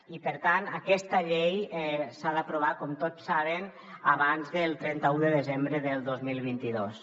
i per tant aquesta llei s’ha d’aprovar com tots saben abans del trenta un de desembre del dos mil vint dos